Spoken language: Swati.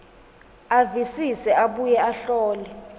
avisise abuye ahlole